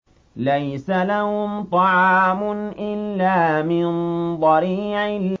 لَّيْسَ لَهُمْ طَعَامٌ إِلَّا مِن ضَرِيعٍ